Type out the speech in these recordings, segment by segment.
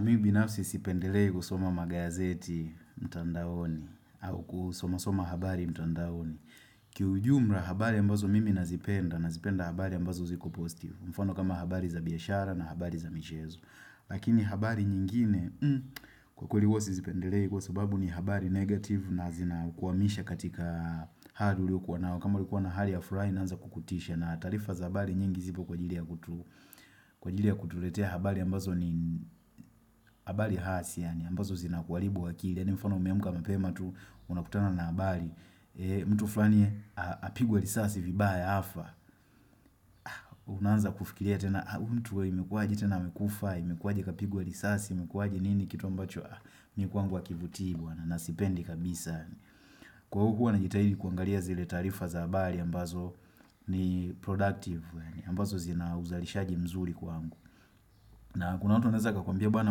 Mimi binafsi sipendelei kusoma magazeti mtandaoni au kusomasoma habari mtandaoni. Kiujumla habari ambazo mimi nazipenda, nazipenda habari ambazo ziko posistive. Mfano kama habari za biashara na habari za michezo. Lakini habari nyingine, kwa kweli huwa sizipendelei kwa sababu ni habari negative na zina kuwamisha katika hali uliokuwa nao. Kama ulikuwa na hali yaf furaha inaanza kukutisha na taarifa za habari nyingi zipo kwa jili ya kutu. Kwa ajili ya kutuletea habari ambazo ni habari hasi ambazo zinakuaribu wakili ya ni mfano umeamka mapema tu unakutana na habari mtu fulani apigwa lisasi vibaya afa Unaanza kufikiria tena mtu imekuaji tena amekufa Imekuaji kapigwa lisasi, imekuaji nini kitu ambacho Mikwangu wakivutii bwana nasipendi kabisa Kwa huwa najitahidi kuangalia zile taarifa za habari ambazo ni productive ambazo zina uzalishaji mzuri kwangu na kuna watu wanaweza kakwambia bana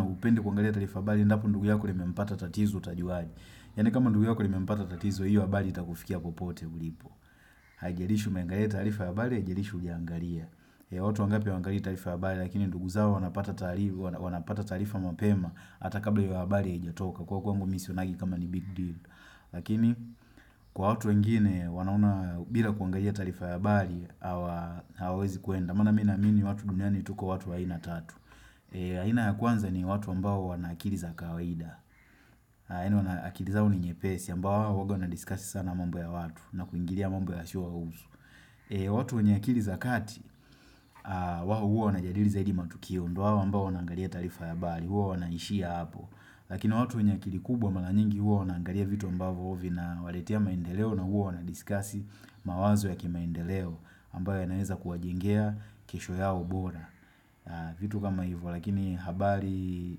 hupendi kuangalia tarifa ya habari, endapo ndugu yako limempata tatizo utajuaje. Yaani kama ndugu yako limempata tatizo, hiyo habali itakufikia kupote ulipo. Haijalishi umengalia tarifa ya habari, haijalishi hujaangalia. Ya watu wangapi hawangalii tarifa ya habari, lakini ndugu zao wanapata taarifa mapema, ata kabla ya hiyo abali ya ijatoka, kwa kwangu misionagi kama ni big deal. Lakini, kwa hatu wengine, wanaona bila kuangalia tarifa ya bari, hawa wezi kuenda. Kwa maana mimi namini watu duniani tuko watu waina tatu. Aina ya kwanza ni watu ambao wanaakiliza kawaida. Yaani wanaakili zao ni nyepesi ambao waga wana diskasi sana mamba ya watu na kuingiria mambo yasiyowahusu. Watu wenye akili za kati, wao huwa wana jadili zaidi matukio. Ndo wao ambao wanaangalia tarifa ya habari, huwa wanaishia hapo. Lakini watu wenye akili kubwa mara nyingi huwa wanaangalia vitu ambao huo vinawaletea maendeleo na huwa wana diskasi mawazo ya kimaendeleo. Ambayo yanaweza kuwajengea kesho yao bora vitu kama hivyo lakini habari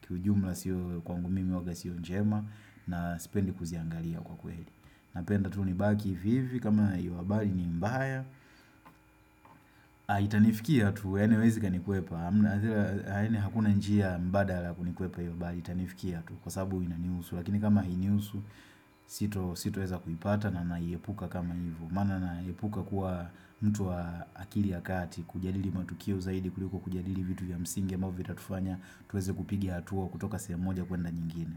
kiujumla siyo kwangu mimi huwaga siyo njema na sipendi kuziangalia kwa kweli Napenda tu ni baki vivi kama hivu habari ni mbaya Itanifikia tu yaani haiwezi kanikwepa Haine hakuna njia mbadala kunikwepa hivu habari itanifikia tu Kwa sababu inaniusu lakini kama hiniusu sito sito weza kuipata na naiepuka kama hivu Maana naepuka kuwa mtu wa akili ya kati kujadili matukio zaidi kuliko kujadili vitu ya msingi ambavyo vitufanya tuweze kupigi hatua kutoka sehemu moja kwenda nyingine.